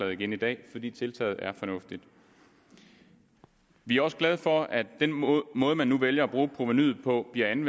igen i dag fordi tiltaget er fornuftigt vi er også glade for at den måde måde man nu vælger at bruge provenuet på giver en